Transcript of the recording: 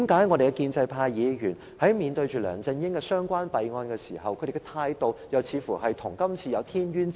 為何建制派議員在面對梁振英的弊案時，態度又似乎跟今次有天淵之別？